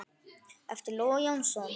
eftir Loga Jónsson